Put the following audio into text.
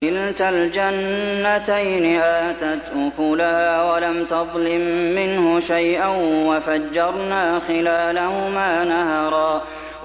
كِلْتَا الْجَنَّتَيْنِ آتَتْ أُكُلَهَا وَلَمْ تَظْلِم مِّنْهُ شَيْئًا ۚ وَفَجَّرْنَا خِلَالَهُمَا نَهَرًا